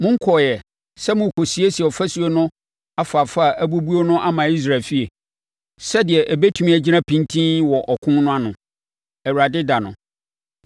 Monkɔeɛ sɛ morekɔsiesie afasuo no afaafa a abubu no ama Israel efie, sɛdeɛ ɛbɛtumi agyina pintinn wɔ ɔko no ano, Awurade ɛda no.’